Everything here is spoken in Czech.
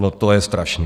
No to je strašné.